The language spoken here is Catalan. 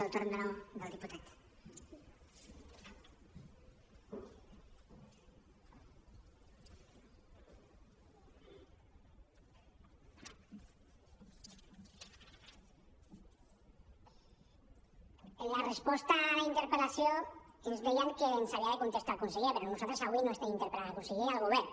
en la resposta a la interpel·lació ens deien que ens havia de contestar el conseller però nosaltres avui estem interpel·lant el conseller i el govern